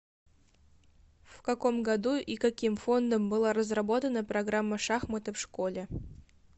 в каком году и каким фондом была разработана программа шахматы в школе